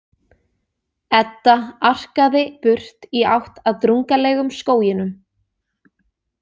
Edda arkaði burt í átt að drungalegum skóginum.